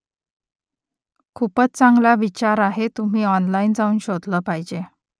खूपच चांगला विचार आहे तुम्ही ऑनलाइन जाऊन शोधलं पाहिजे